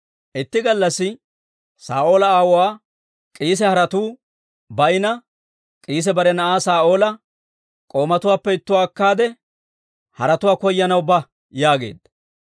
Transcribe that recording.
Itti gallassi Saa'oola aawuwaa K'iise haretuu bayinna K'iisi bare na'aa Saa'oola, «K'oomatuwaappe ittuwaa akkaade, haretuwaa koyanaw ba» yaageedda.